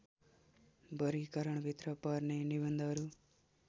वर्गीकरणभित्र पर्ने निबन्धहरू